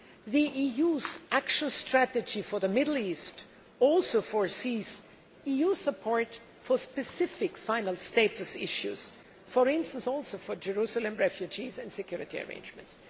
The EU's action strategy for the Middle East also foresees EU support for specific final status issues, for instance, for Jerusalem, refugees and security arrangements.